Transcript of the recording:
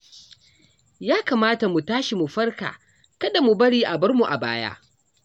Ya kamata mu tashi mu farka kada mu bari a bar mu a baya